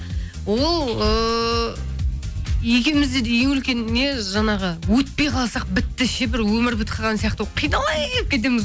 ол ыыы екеумізде де ең үлкен не жаңағы өтпей қалсақ бітті ше бір өмір бітіп қалған сияқты қиналып кетеміз